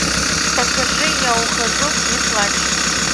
покажи я ухожу не плачь